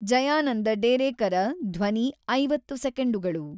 ಜಯಾನಂದ ಡೇರೇಕರ ಧ್ವನಿ ಐವತ್ತು ಸೆಕೆಂಡುಗಳು